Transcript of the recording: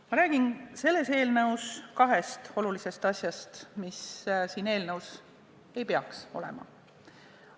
Ma räägin kahest olulisest asjast, mis ei peaks selles eelnõus olema.